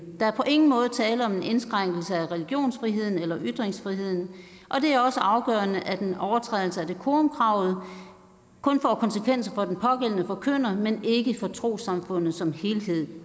der er på ingen måde tale om en indskrænkning af religionsfriheden eller ytringsfriheden og det er også afgørende at en overtrædelse af decorumkravet kun får konsekvenser for den pågældende forkynder men ikke for trossamfundet som helhed